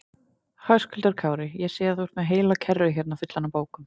Höskuldur Kári: Ég sé að þú ert með heila kerru hérna fulla af bókum?